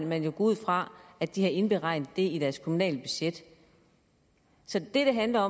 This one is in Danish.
man jo gå ud fra at de har indregnet det i deres kommunale budget så det handler